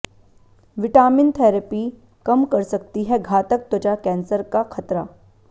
vitamin therapy कम कर सकती है घातक त्वचा कैंसर का खतरा